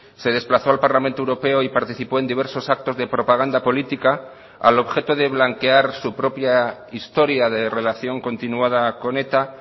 se desplazó al parlamento europeo y participó en diversos actos de propaganda política al objeto de blanquear su propia historia de relación continuada con eta